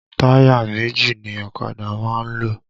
Táyà méjì ni ọ̀kadà máa ń lò